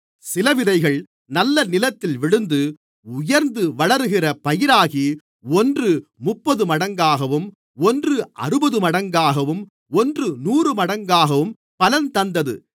சில விதைகள் நல்ல நிலத்தில் விழுந்து உயர்ந்து வளருகிற பயிராகி ஒன்று முப்பதுமடங்காகவும் ஒன்று அறுபதுமடங்காகவும் ஒன்று நூறுமடங்காகவும் பலன் தந்தது